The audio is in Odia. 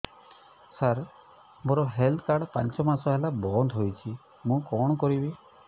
ସାର ମୋର ହେଲ୍ଥ କାର୍ଡ ପାଞ୍ଚ ମାସ ହେଲା ବଂଦ ହୋଇଛି ମୁଁ କଣ କରିବି